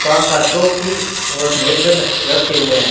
पांच सात ट्रॉफी और मेडल रखे हुए हैं।